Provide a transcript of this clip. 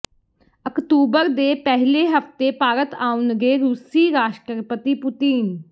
October ਦੇ ਪਹਿਲੇ ਹਫ਼ਤੇ ਭਾਰਤ ਆਉਣਗੇ ਰੂਸੀ ਰਾਸ਼ਟਰਪਤੀ ਪੁਤਿਨ